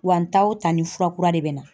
Wa n taa o taa ni fura kura de bɛ na.